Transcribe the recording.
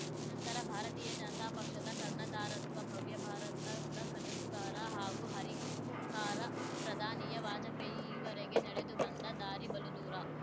ನಂತರ ಭಾರತೀಯ ಜನತಾ ಪಕ್ಷದ ಕರ್ಣಧಾರತ್ವ ಭವ್ಯ ಭಾರತದ ಕನಸುಗಾರ ಹಾಗೂ ಹರಿಕಾರ ಪ್ರಧಾನಿಯ ವಾಜಪೇಯಿ ಈವರೆಗೆ ನಡೆದು ಬಂದ ದಾರಿ ಬಲುದೂರ